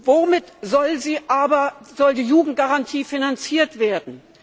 Womit soll aber die Jugendgarantie finanziert werden?